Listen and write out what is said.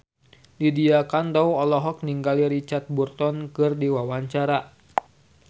Lydia Kandou olohok ningali Richard Burton keur diwawancara